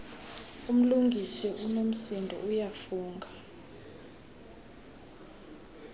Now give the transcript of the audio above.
umlungisi unomsindo uyafunga